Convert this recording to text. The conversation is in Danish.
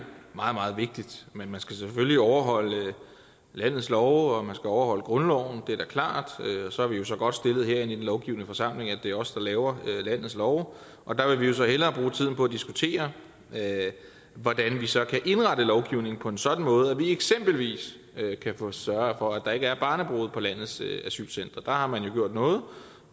meget meget vigtigt men man skal selvfølgelig overholde landets love og og grundloven det er da klart og så er vi jo så godt stillet her i den lovgivende forsamling at det er os der laver landets love og der vil så hellere bruge tiden på at diskutere hvordan vi så kan indrette lovgivningen på en sådan måde at vi eksempelvis kan få sørget for at der ikke er barnebrude på landets asylcentre der har man jo gjort noget